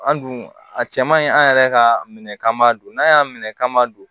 An dun a cɛ man ɲi an yɛrɛ ka minɛ kama don n'a y'a minɛ k'an ma don